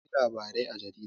Akwai labarai a jarida.